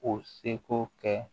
O seko kɛ